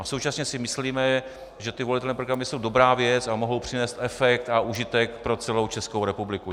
A současně si myslíme, že ty volitelné programy jsou dobrá věc a mohou přinést efekt a užitek pro celou Českou republiku.